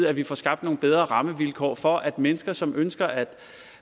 at vi får skabt nogle bedre rammevilkår for at mennesker som ønsker at